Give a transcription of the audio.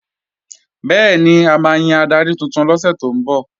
Bẹ́ẹ̀ni, a máa yan adarí tuntun lọ́sẹ̀ tó kọjá